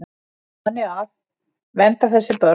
Þannig að. vernda þessi börn.